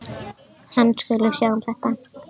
Hann skuli sjá um þetta.